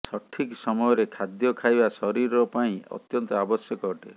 ସଠିକ୍ ସମୟରେ ଖାଦ୍ୟ ଖାଇବା ଶରୀର ପାଇଁ ଅତ୍ୟନ୍ତ ଆବଶ୍ୟକ ଅଟେ